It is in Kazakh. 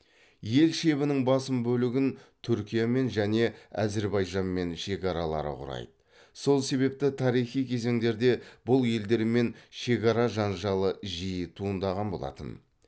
ел шебінің басым бөлігін түркиямен және әзірбайжанмен шекаралары құрайды сол себепті тарихи кезеңдерде бұл елдермен шекара жанжалы жиі туындаған болатын